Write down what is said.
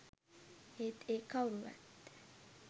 ඒත් ඒ කව්රුවත්